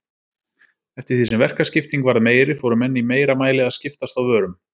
Eftir því sem verkaskipting varð meiri fóru menn í meira mæli að skiptast á vörum.